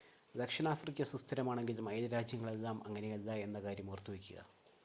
ദക്ഷിണാഫ്രിക്ക സുസ്ഥിരമാണെങ്കിലും അയൽരാജ്യങ്ങളെല്ലാം അങ്ങനെയല്ല എന്ന കാര്യം ഓർത്തുവെക്കുക